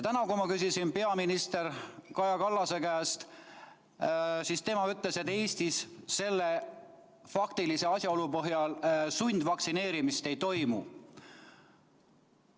Täna, kui ma küsisin peaminister Kaja Kallase käest, siis tema ütles, et Eestis selle faktilise asjaolu põhjal sundvaktsineerimist ei toimu.